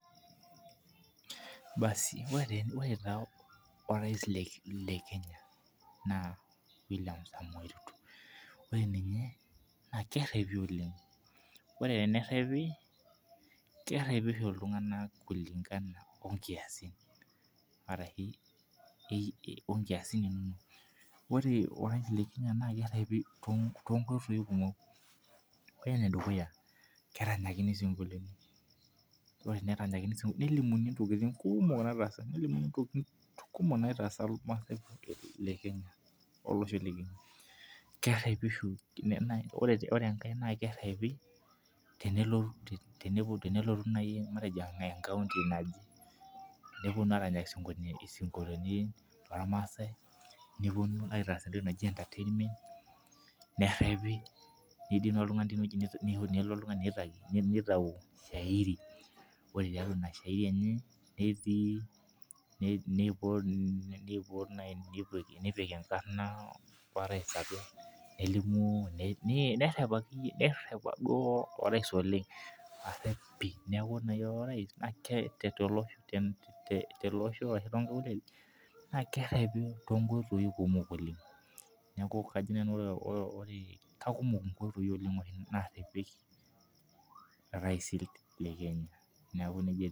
Basi ore taa orais le Kenya naa William samoei Ruto naa ninye, naa kerepi oleng, ore tenerepi, kerepi oshi ltunganak okulingana o nkiasin arashu onkiasin ino, ore orais le Kenya naa kerepi to nkoitoi kumok. Ore nedukuya, keranyakini sunguloni, ore eneranyakini sungoloni, nelimuni ntokitin kuumok nataasa, nelimuni ntokitin kumuok naitaasa ilmaasai le Kenya olosho lekwe, kerepi oshi, ore enkae naa kerepi tenelo nai matejo enkae nkaunti naji, neponii aaranyaki singolojin lolmaasai, neponu aitaas ajenda teine, nerepi, neidim oltungani teine nelo oltungani neitau [cs[]shairi, ore tiatua ina shairi enye netii, neipot naa neipotie, nepike enkarna eraais atua, nelimu nerep duo orais oleng, areep pii, naaku ore naa ira orais te ale losho ocheta nkaulele, naa kerepi to nkoitoi kumok oleng, naaku kajo nanu ore, kakumok nkoitoi oleng naarepieki iraisi le Kenya naaku neja etiu.